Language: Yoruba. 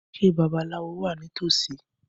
Ṣé babaláwo wà ní tòsí?